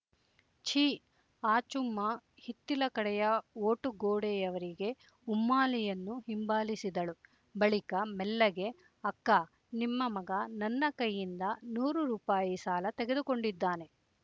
ಛಿ ಆಚುಮ್ಮ ಹಿತ್ತಿಲ ಕಡೆಯ ವೋಟು ಗೊಡೆಯವರೆಗೆ ಉಮ್ಮಾಲಿಯನ್ನು ಹಿಂಬಾಲಿಸಿದಳು ಬಳಿಕ ಮೆಲ್ಲಗೆ ಅಕ್ಕಾ ನಿಮ್ಮ ಮಗ ನನ್ನ ಕೈಯಿಂದ ನೂರು ರೂಪಾಯಿ ಸಾಲ ತೆಗೆದುಕೊಂಡಿದ್ದಾನೆ